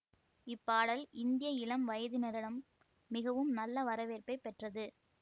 இப்பாடல் இந்திய இளம் வயதினரிடம் மிகவும் நல்ல வரவேற்பை பெற்றது